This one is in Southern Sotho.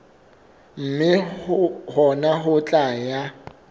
mme hona ho tla ya